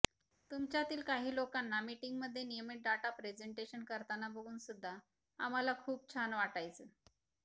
तुमच्यातील काही लोकांना मीटिंग मधे नियमित डाटा प्रेझेंटेशन करतांना बघून सुद्धा आम्हाला खुप छान वाटायचं